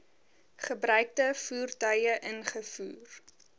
gebruikte voertuie ingevoer